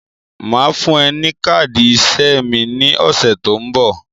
Màá fún ẹ ní káàdì iṣẹ́ mi ní ọ̀sẹ̀ tó ń bọ̀.